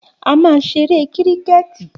A máa ṣeré kíríkẹ̀tì